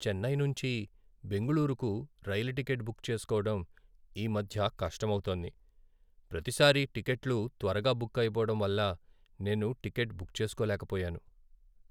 చెన్నై నుంచి బెంగుళూరుకు రైలు టికెట్ బుక్ చేసుకోవడం ఈ మధ్య కష్టమౌతోంది. ప్రతిసారీ టిక్కెట్లు త్వరగా బుక్ అయిపోవడం వల్ల నేను టికెట్ బుక్ చేసుకోలేకపోయాను.